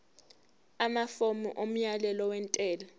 amafomu omyalelo wentela